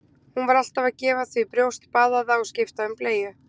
Hún var alltaf að gefa því brjóst, baða það og skipta um bleyju.